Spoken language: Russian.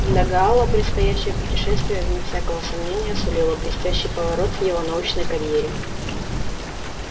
для гаала предстоящее путешествие вне всякого сомнения сулило блестящий поворот в его научной карьере